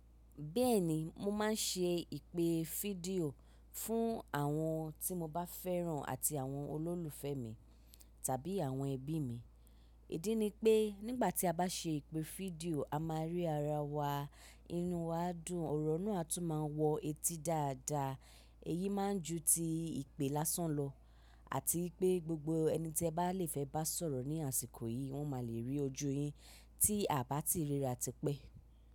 Bẹ́ẹ̀ni, mo máa ń ṣe ìpè fídíò fún àwọn tí mo bá fẹ́ràn àti àwọn olólùfẹ́ mi tàbí àwọn ẹbí mi. Ìdí ni pé nígbà tí a bá ṣe ìpè fídíò, a máa rí ara wa, inu wa á dùn, ọ̀rọ̀ náà tún máa wọ etí dáadáa. Èyí máa n ju ti ìpè lásán lọ àti pé gbogbo ẹni tí ẹ bá lè fẹ́ bá sọ̀rọ̀ ní àsìkò yìí, wọ́n máa lè rí ojú yín tí a bá ti ríra tipẹ́.